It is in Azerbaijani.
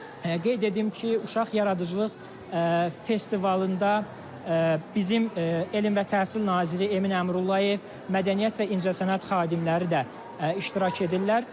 Qeyd edim ki, uşaq yaradıcılıq festivalında bizim Elm və Təhsil naziri Emin Əmrullayev, Mədəniyyət və İncəsənət xadimləri də iştirak edirlər.